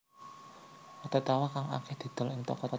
Roti tawar kang akèh didol ing toko toko